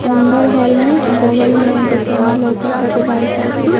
अंदर हॉल में आ बगल में और सामने लोका ता एगो बाइसिकल --